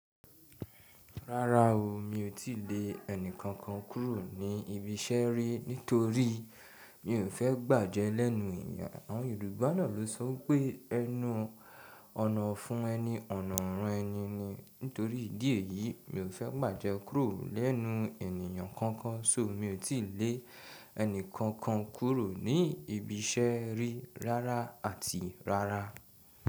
Rárá o, mi ò tí lè ẹni kankan kúrò ní ibi iṣẹ́ rí nítorí mi ò fẹ́ gbàjẹ́ lẹ́nu ènìyàn. Àwọn Yorùbá náà ló sọ pé ẹnu ọ̀nà fún ẹni, ọ̀nà ọrán ẹni ni. Nítorí ìdí èyí, mi ò fẹ́ bàjẹ́ kúrò lẹ́nu ènìyàn kankan. So mi ò tí lè ẹni kankan kúrò ní ibi iṣẹ́ rí rárá àti rárá.